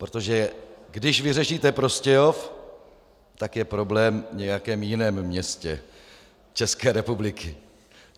Protože když vyřešíte Prostějov, tak je problém v nějakém jiném městě České republiky.